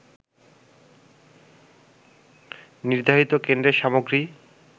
নির্ধারিত কেন্দ্রের সামগ্রী